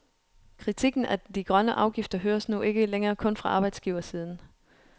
Kritikken af de grønne afgifter høres nu ikke længere kun fra arbejdsgiversiden.